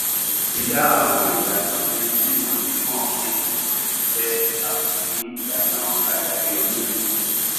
dída àwọn ìlànà méjì wọnyí mọ nínú gbogbo ìṣe ni a mọ sí ìlànà àlàyé oníbejì